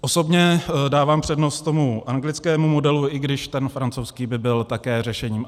Osobně dávám přednost tomu anglickému modelu, i když ten francouzský by byl také řešením.